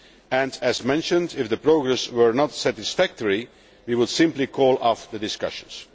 and, as mentioned, if progress were not satisfactory we would simply call off the discussions.